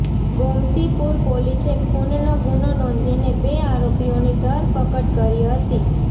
ગોમતીપુર પોલીસે ખૂનનો ગુનો નોંધીને બે આરોપીઓની ધરપકડ કરી હતી